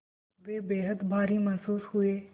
वे बेहद भारी महसूस हुए